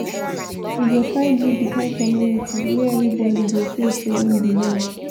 we go try build di kind community wey everybodi go feel sey im belong.